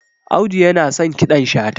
audu yana son kiɗan shata